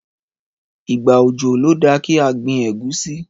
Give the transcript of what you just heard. Ìgbà òjò ló da kí a gbin ẹ̀gúsí.